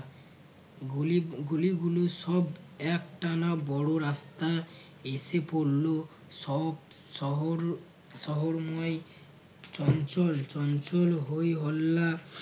গুলি গুলি গুলো সব একটানা বড় রাস্তা এসে পড়ল সব শহর শহরময় চঞ্চল চঞ্চল হয়ে হল্লা